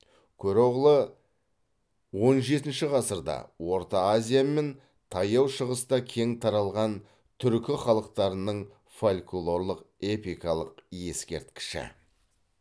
көроғлы он жетінші ғасырда орта азия мен таяу шығыста кең таралған түркі халықтарының фольклорлық эпикалық ескерткіші